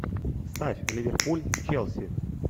ставь ливерпуль челси